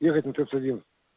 ехать в утёс один